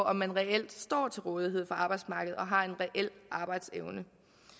om man reelt står til rådighed for arbejdsmarkedet og har en reel arbejdsevne